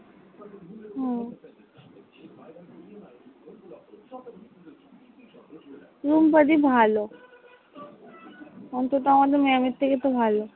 রুম্পাদি ভালো অন্তত আমাদের maam এর থেকে তো ভালো।